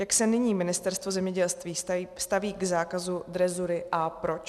Jak se nyní Ministerstvo zemědělství staví k zákazu drezury a proč?